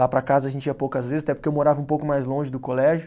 Lá para casa a gente ia poucas vezes, até porque eu morava um pouco mais longe do colégio.